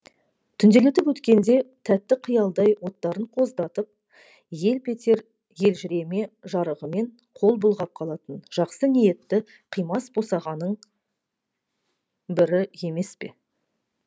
түнделетіп өткенде тәтті қиялдай оттарын қоздатып елп етер елжіреме жарығымен қол бұлғап қалатын жақсы ниетті қимас босағаның бірі емес пе